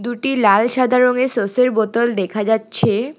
দুটি লাল সাদা রংয়ের সসের বোতল দেখা যাচ্ছে।